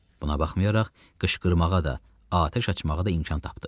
Buna baxmayaraq, qışqırmağa da, atəş açmağa da imkan tapdı.